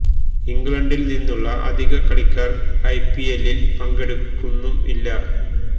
ഇംഗ്ലണ്ടില് നിന്നുള്ള അധികം കളിക്കാര് ഐ പി എല്ലില് പങ്കെടുക്കുന്നും ഇല്ല